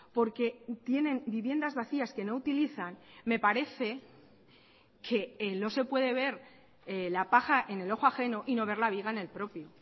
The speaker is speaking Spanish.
porque tienen viviendas vacías que no utilizan me parece que no se puede ver la paja en el ojo ajeno y no ver la viga en el propio